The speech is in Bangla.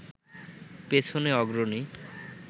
পেছনে অগ্রণী